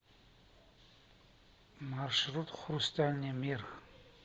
маршрут хрустальный мир